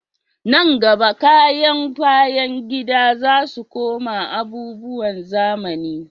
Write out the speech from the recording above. Nan gaba, kayan bayan gida za su koma abubuwan zamani